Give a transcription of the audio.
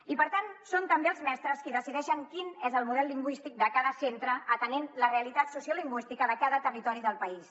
i per tant són també els mestres qui decideixen quin és el model lingüístic de cada centre atenent la realitat sociolingüística de cada territori del país